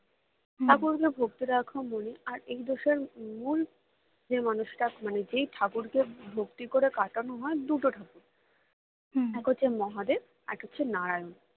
ভক্তি রাখো মনে আর এই দোষের মূল যে মানুষটা মানে যেই ঠাকুরকে ভক্তি করে কাটানো হয় দুটো ঠাকুর এক হচ্ছেন মহাদেব আরেক হচ্ছেন নারায়ণ